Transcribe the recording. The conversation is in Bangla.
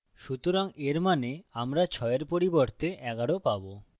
সুতরাং এর means আমরা ৬এর পরিবর্তে ১১ পাবো